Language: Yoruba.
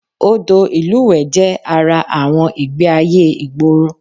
Odò ìlúwẹ̀ẹ́ jẹ́ ara àwọn ìgbé-ayé ìgboro